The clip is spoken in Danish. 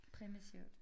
Primitivt